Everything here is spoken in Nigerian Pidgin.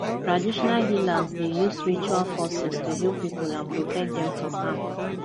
traditional healers dey use rituals forces to heal people and protect dem from harm